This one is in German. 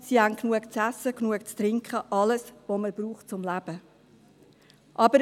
Sie haben genug zu essen, genug zu trinken, alles was man zum Leben braucht.